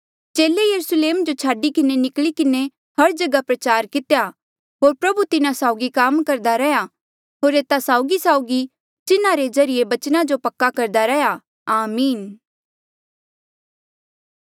चेले यरूस्लेम जो छाडी किन्हें निकली किन्हें हर जगहा प्रचार कितेया होर प्रभु तिन्हा साउगी काम करदा रैहया होर एता साउगीसाउगी चिन्हा रे ज्रीये बचना जो पक्का करदा रैहया आमीन